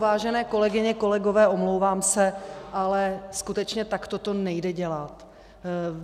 Vážené kolegyně, kolegové, omlouvám se, ale skutečně takto to nejde dělat.